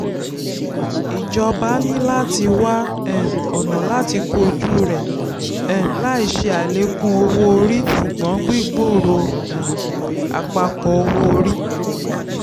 ìjọba ní láti wá um ọ̀nà làti kojú rẹ̀ um láì ṣe àlékún owó-orí ṣùgbọ́n gbígbòrò um àpapọ̀ owó-orí.